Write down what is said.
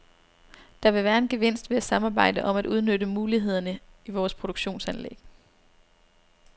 Der vil være en gevinst ved at samarbejde om at udnytte mulighederne i vores produktionsanlæg.